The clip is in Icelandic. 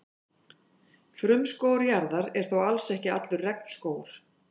Frumskógur jarðar er þó alls ekki allur regnskógur.